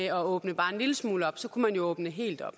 at åbne bare en lille smule op kunne man jo åbne helt op